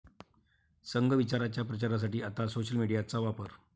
संघ विचाराच्या प्रचारासाठी आता 'सोशल मीडिया'चा वापर